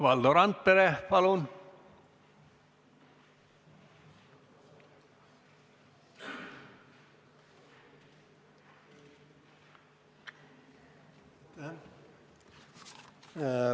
Valdo Randpere, palun!